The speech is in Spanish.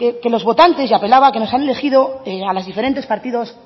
que los votantes y apelaba a que nos han elegido a los diferentes partidos